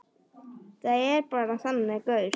Ég er bara þannig gaur.